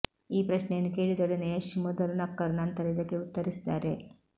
ಈ ಪ್ರಶ್ನೆಯನ್ನು ಕೇಳಿದೊಡನೆ ಯಶ್ ಮೊದಲು ನಕ್ಕರು ನಂತರ ಇದಕ್ಕೆ ಉತ್ತರಿಸಿದ್ದಾರೆ